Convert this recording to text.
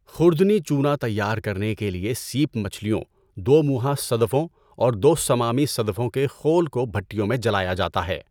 خوردنی چونا تیار کرنے کے لیے سیپ مچھلیوں، دو مونہا صدفوں اور دو صمامی صدفوں کے خول کو بھٹیوں میں جلایا جاتا ہے۔